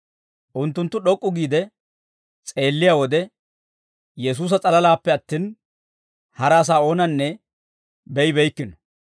Unttunttu d'ok'k'u giide s'eelliyaa wode, Yesuusa s'alalaappe attin, hara asaa oonanne be'ibeykkino.